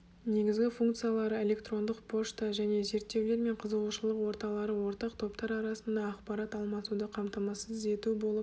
негізгі функциялары электрондық пошта және зертеулер мен қызығушылық орталары ортақ топтар арасында ақпарат алмасуды қамтамасыз ету болып